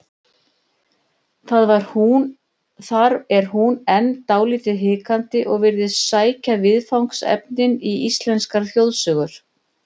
Þar er hún enn dálítið hikandi og virðist sækja viðfangsefnin í íslenskar þjóðsögur.